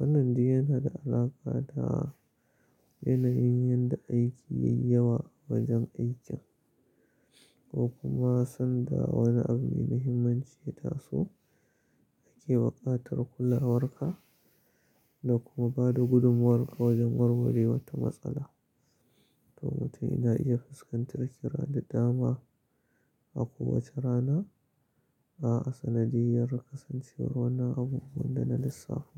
Wannan dai yana da alaƙa da yana yin yadda aiki yayi yawa a wajen aikin ko kuma sanda wani abu mai muhimmanci ya taso ake buƙatar kulawarka da kuma ba da gudumuwarka wajen warware wata matsala. To mutum yana iya fuskantar kira da dama a ko wacce rana a sanadiyar kasancewar wani abu wanda na lissafu.